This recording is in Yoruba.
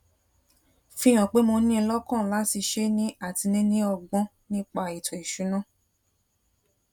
fi hàn pé mo ní in lókàn láti ṣé ní àti níní ọgbón nípa ètò ìṣúnná